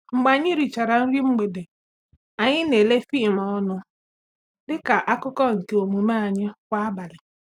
Mgbe anyi richara nri mgbede, anyị na-ele fim ọnụ dị ka akụkụ nke omume anyị kwa abalị.